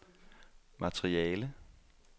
materiale